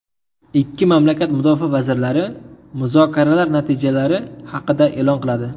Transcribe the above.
Ikki mamlakat mudofaa vazirlari muzokaralar natijalari haqida e’lon qiladi.